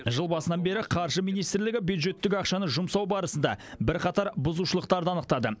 жыл басынан бері қаржы министрлігі бюджеттік ақшаны жұмсау барысында бірқатар бұзушылықтарды анықтады